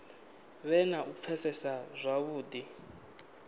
vhe na u pfesesa zwavhudi